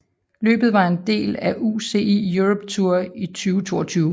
Løbet var en del af UCI Europe Tour 2022